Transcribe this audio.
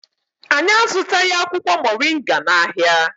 Anyị azụtaghị akwụkwọ Mọrịnga n'ahịa.